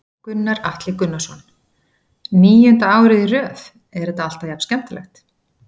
Gunnar Atli Gunnarsson: Níunda árið í röð, er þetta alltaf jafn skemmtilegt?